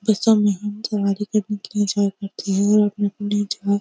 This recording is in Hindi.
बसों में हम सवारी करने के लिए जाया करते हैं और अपने-अपने जगह --